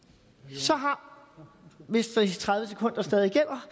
så har hvis de tredive sekunder stadig gælder